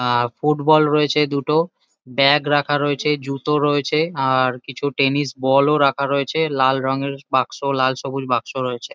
আ football রয়েছে দুটো bag রাখা রয়েছে জুতো রয়েছে আর কিছু টেনিস বল -ও রাখা রয়েছে। লাল রঙের বাক্স। লাল সবুজ বাক্স রয়েছে।